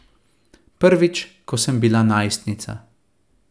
Prvič, ko sem bila najstnica.